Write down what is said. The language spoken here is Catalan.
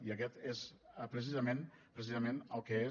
i aquest és precisament precisament el que és